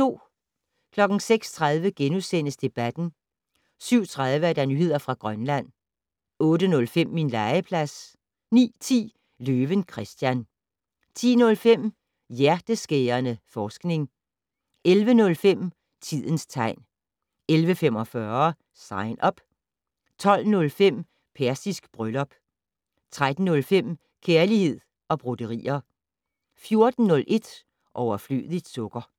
06:30: Debatten * 07:30: Nyheder fra Grønland 08:05: Min legeplads 09:10: Løven Christian 10:05: Hjerteskærende forskning 11:05: Tidens tegn 11:45: Sign Up 12:05: Persisk bryllup 13:05: Kærlighed og broderier 14:01: Overflødigt sukker